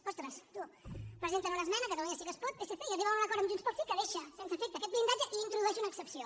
ostres tu presenten una esmena catalunya sí que es pot psc i arriben a un acord amb junts pel sí que deixa sense efecte aquest blindatge i introdueix una excepció